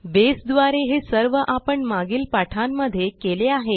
बसे द्वारे हे सर्व आपण मागील पाठांमध्ये केले आहे